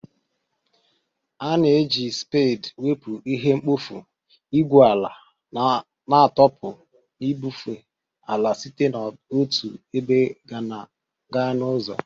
A na-eji spade wepụ ihe mkpofu, igwu ala na-atọpụ na ibufe ala site n'otu ebe gaa n'ọzọ